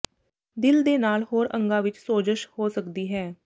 ਦਿਲ ਦੇ ਨਾਲ ਹੋਰ ਅੰਗਾਂ ਵਿੱਚ ਸੋਜਸ਼ ਹੋ ਸਕਦੀ ਹੈ